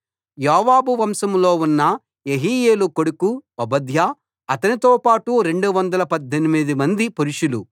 యోవాబు వంశంలో ఉన్న యెహీయేలు కొడుకు ఓబద్యా అతనితో పాటు 218 మంది పురుషులు